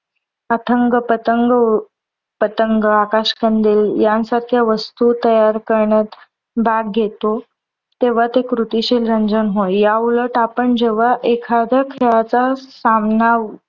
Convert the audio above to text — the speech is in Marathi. अथंग पथंग पतंग आकाश कंदील यांसारख्या वस्तू तयार करण्यात भाग घेतो. तेव्हा ते कृतिशील रंजन होय. याउलट आपण जेव्हा एखाद्या खेळाचा सामना